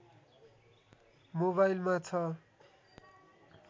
मोबाइलमा छ